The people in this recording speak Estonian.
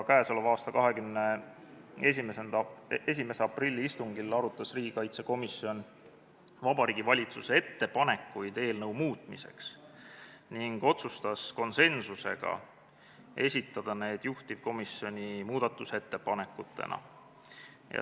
21. aprilli istungil arutas riigikaitsekomisjon Vabariigi Valitsuse ettepanekuid eelnõu muutmiseks ning otsustas konsensuslikult esitada need juhtivkomisjoni muudatusettepanekutena.